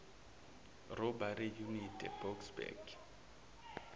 robbery unit eboksburg